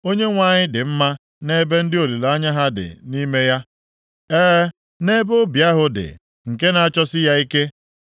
Onyenwe anyị dị mma nʼebe ndị olileanya ha dị nʼime ya, e, nʼebe obi ahụ dị, nke na-achọsi ya ike.